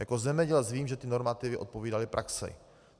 Jako zemědělec vím, že ty normativy odpovídaly praxi.